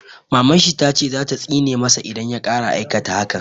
Maman shi ta ce za ta tsine ma sa idan ya ƙara aikata hakan